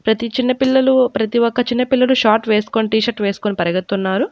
ప్రతి చిన్నపిల్లలు ప్రతి ఒక్క చిన్న పిల్లలు షార్ట్ వేసుకొని టీ-షర్టు వేసుకొని పరిగెత్తున్నారు.